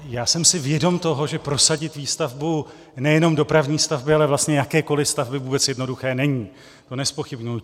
Já jsem si vědom toho, že prosadit výstavbu nejenom dopravní stavby, ale vlastně jakékoliv stavby vůbec jednoduché není, to nezpochybňuji.